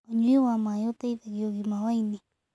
Ũnyũĩ wa mae ũteĩthagĩa ũgima wa ĩnĩ